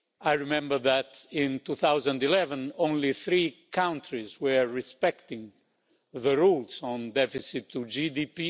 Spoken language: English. I remember that in 2011, only three countries were respecting the rules on deficit-to-GDP.